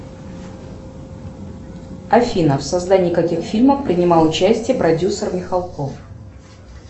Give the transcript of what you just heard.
афина в создании каких фильмов принимал участие продюсер михалков